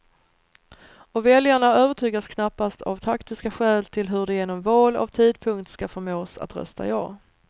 Och väljarna övertygas knappast av taktiska skäl till hur de genom val av tidpunkt skall förmås att rösta ja.